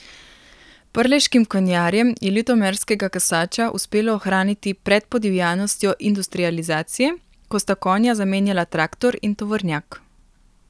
Prleškim konjarjem je ljutomerskega kasača uspelo ohraniti pred podivjanostjo industrializacije, ko sta konja zamenjala traktor in tovornjak.